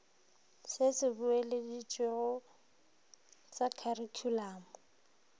se se boeleditšwego sa kharikhulamo